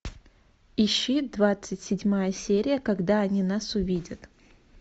ищи двадцать седьмая серия когда они нас увидят